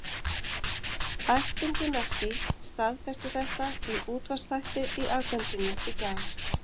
Ættingi Messi staðfesti þetta í útvarpsþætti í Argentínu í gær.